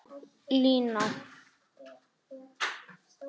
Lína